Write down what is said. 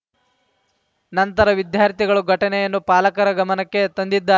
ನಂತರ ವಿದ್ಯಾರ್ಥಿಗಳು ಘಟನೆಯನ್ನು ಪಾಲಕರ ಗಮನಕ್ಕೆ ತಂದಿದ್ದಾ